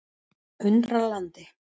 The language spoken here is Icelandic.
Undralandi